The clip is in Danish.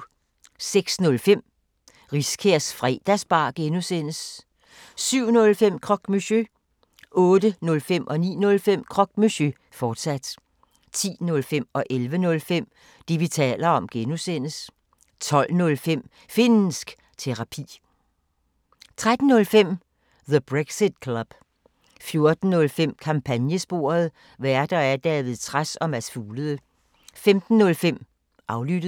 06:05: Riskærs Fredagsbar (G) 07:05: Croque Monsieur 08:05: Croque Monsieur, fortsat 09:05: Croque Monsieur, fortsat 10:05: Det, vi taler om (G) 11:05: Det, vi taler om (G) 12:05: Finnsk Terapi 13:05: The Brexit Club 14:05: Kampagnesporet: Værter: David Trads og Mads Fuglede 15:05: Aflyttet